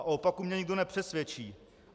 A o opaku mě nikdo nepřesvědčí.